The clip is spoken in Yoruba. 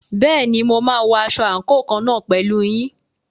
Bẹ́ẹ̀ni, mo máa wọ aṣọ àǹkóò kan náà pẹ̀lú yín.